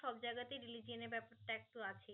সব জায়গাতেই religion এই ব্যাপারটা একটু আছেই